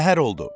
Səhər oldu.